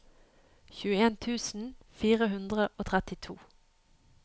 tjueen tusen fire hundre og trettito